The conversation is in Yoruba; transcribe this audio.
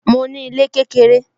Mo ní ilé kékeré